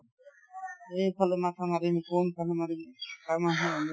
এইফালে মাথা মাৰিম কোনফালে মাৰিম